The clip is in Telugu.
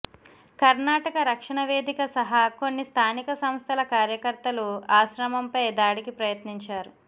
కర్ణాటక రక్షణ వేదిక సహా కొన్ని స్థానిక సంస్థల కార్యకర్తలు ఆశ్రమంపై దాడికి ప్రయత్నించారు